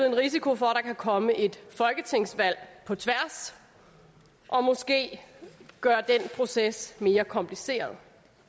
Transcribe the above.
en risiko for at der kan komme et folketingsvalg på tværs og måske gøre den proces mere kompliceret